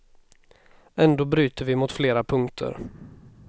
Ändå bryter vi mot flera punkter.